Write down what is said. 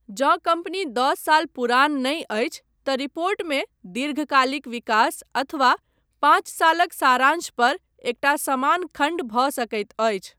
जँ कम्पनी दस साल पुरान नहि अछि, तँ रिपोर्टमे 'दीर्घकालिक विकास' अथवा 'पांच सालक सारांश' पर एकटा समान खण्ड भऽ सकैत अछि।